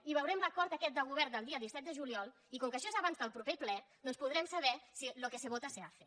i veurem l’acord aquest de govern del dia disset de juliol i com que això és abans de pro·per ple doncs podrem saber si lo que se vota se hace